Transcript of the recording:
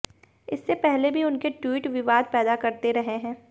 इससे पहले भी उनके ट्वीट विवाद पैदा करते रहे हैं